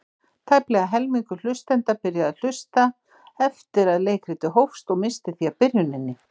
Tæplega helmingur hlustenda byrjaði að hlusta eftir að leikritið hófst og missti því af byrjuninni.